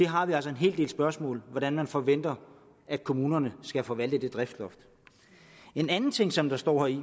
har vi altså en hel del spørgsmål hvordan man forventer kommunerne skal forvalte det driftsloft en anden ting som der står i